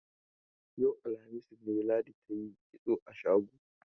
Yau, alhamis ne, Ladi ta yi kitso a shago.